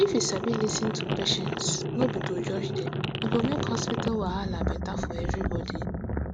if you sabi lis ten to di patients no be to judge dem e go make hospital wahala better for everybody